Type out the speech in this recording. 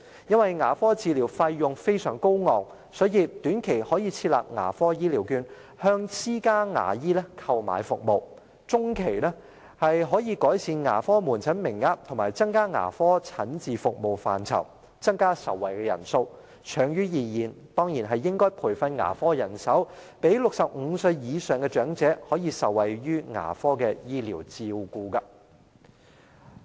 因為牙科治療費用非常高昂，所以短期可以設立"牙科醫療券"，向私家牙醫購買服務；中期可以改善牙科門診服務名額，以及增加牙科診治服務範疇，增加受惠人數；長遠而言，當然應該培訓牙科人手，讓65歲以上的長者可以受惠於牙科醫療照顧。